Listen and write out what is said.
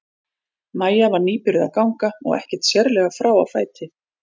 Maja var nýbyrjuð að ganga og ekkert sérlega frá á fæti.